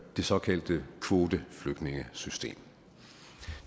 det såkaldte kvoteflygtningesystem